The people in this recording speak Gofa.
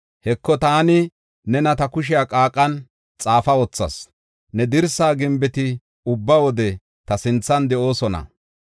Heko, taani nena ta kushe qaaqan xaafa wothas; ne dirsa gimbeti ubba wode ta sinthan de7oosona.